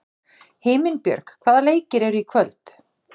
Himinbjörg, hvaða leikir eru í kvöld?